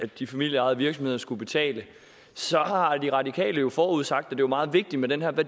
de familieejede virksomheder skulle betale har de radikale jo forudsat at det var meget vigtigt med den her